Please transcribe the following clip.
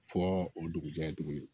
Fɔ o dugujɛ tuguni